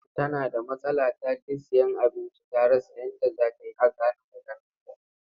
Tana da matsala ta je sayen abinci ta rasa yadda za ta yi a gane maganarta.